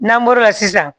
N'an bɔr'o la sisan